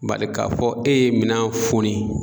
Bari k'a fɔ e ye minan foni.